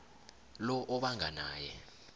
lo obanga naye